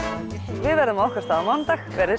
við verðum á okkar stað á mánudag verið